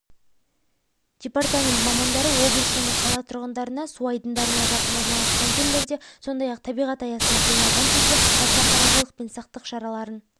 департамент мамандары облыс және қала тұрғындарына су айдындарына жақын орналасқан жерлерде сондай-ақ табиғат аясында демалған кезде аса қырағылық пен сақтық шараларын